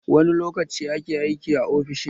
Wani lokaci ake aiki a ofishin?